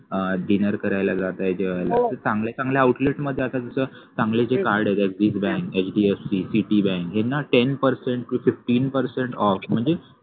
अह dinner करायला जाताय जेवायला जाताय अशा चांगल्या चांगल्या outlet मध्ये आता जस चांगले जे card आहेत जस बँक hdfc बँक याना ten percent to fifteen percent off म्हणजे